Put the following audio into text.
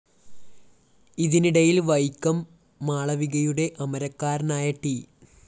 ഇതിനിടയില്‍ വൈക്കം മാളവികയുടെ അമരക്കാരനായ ട്‌